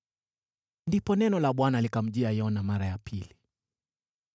Ndipo neno la Bwana likamjia Yona mara ya pili: